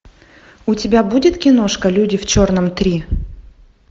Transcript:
у тебя будет киношка люди в черном три